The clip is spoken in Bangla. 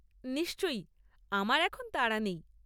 নিশ্চয়ই, আমার এখন তাড়া নেই।